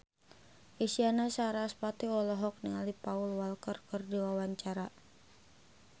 Isyana Sarasvati olohok ningali Paul Walker keur diwawancara